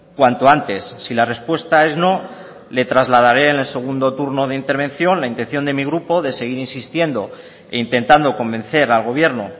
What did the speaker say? cuanto antes si la respuesta es no le trasladare en el segundo turno de intervención la intención de mi grupo de seguir insistiendo e intentando convencer al gobierno